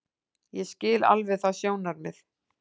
Ég skil alveg það sjónarmið.